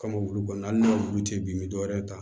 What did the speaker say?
Kamukulu kɔnɔna na n'a wulu tɛ bin bɛ dɔwɛrɛ ta